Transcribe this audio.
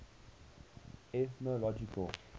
ethnological